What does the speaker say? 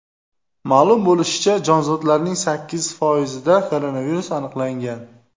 Ma’lum bo‘lishicha, jonzotlarning sakkiz foizida koronavirus aniqlangan.